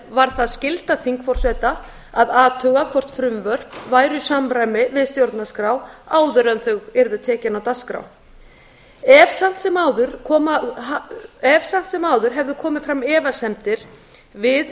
var það skylda þingforseta að athuga hvort frumvörp væru í samræmi við stjórnarskrá áður en þau yrðu tekin á dagskrá ef samt sem áður hefðu komið fram efasemdir við